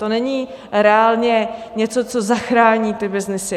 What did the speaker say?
To není reálně něco, co zachrání ty byznysy.